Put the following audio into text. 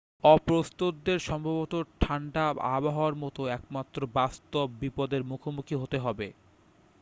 অপ্রস্তুতদের সম্ভবত ঠাণ্ডা আবহাওয়ার মতো একমাত্র বাস্তব বিপদের মুখোমুখি হতে হবে